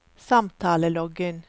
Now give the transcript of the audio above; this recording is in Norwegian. samtaleloggen